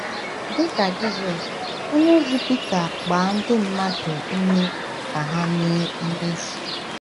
Dị ka Jisọs, onyeozi Pita gbaa ndị mmadụ ume ka ha mee mmehie.